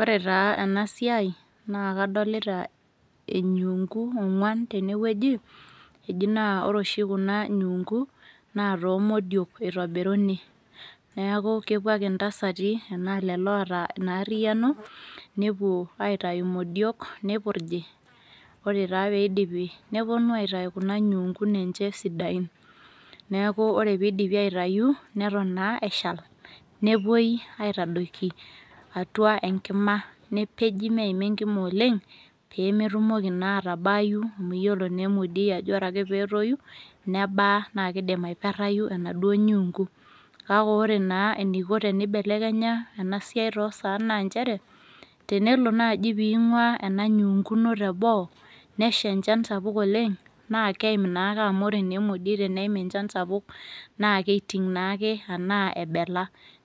Ore taa enasiai naa kadolita enyuunku ogwan tenewueji eji naa ore oshi kuna nyuunku naa toomodiok itobiruni niaku kepuo ake intasati anaa lelo oota ina ariano , nepuo aitayu imodiok , nipurji , ore taa pidipi neponu aitayu kuna nyuunkun enye sidain . Neeku ore pidipi aitayu , neton naa eshal , nepuoi aitadoiki atua enkima , nepeji meima enkima oleng , pemetumoki naa atabaayu , amu iyiolo naa emodiei ajo ore ake petoyu , nebaa naa kidim aiperayu enaduo nyuunku, kake ore naa eniko tenibelekenya ena siai toosaan naa nchere tenelo naji pingwaa ena nyuunku ino teboo, nesha enchan sapuk oleng naa keim naaake amu ore emoiei teneim enchan sapuk naa keiting naake anaa ebela,